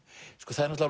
það er